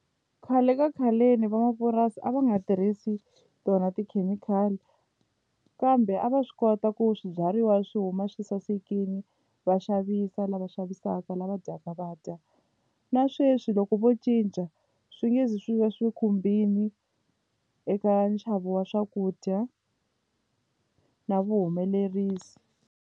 Khale ka khaleni van'wamapurasi a va nga tirhisi tona tikhemikhali kambe a va swi kota ku swibyariwa swi huma swi sasekile va xavisa lava xavisaka lava dyaka va dya na sweswi loko vo cinca swi nge zi swi va swi khumbile eka nxavo wa swakudya na vuhumelerisi.